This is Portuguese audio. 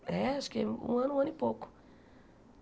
É, acho que um ano, um ano e pouco.